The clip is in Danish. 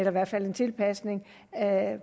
i hvert fald en tilpasning af